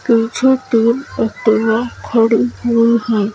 पीछे तो ऐक्टिवा खड़ी हुई हैं।